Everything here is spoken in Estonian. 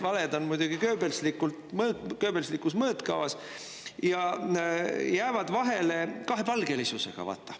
Valed on muidugi goebbelslikus mõõtkavas ja jäävad vahele kahepalgelisusega.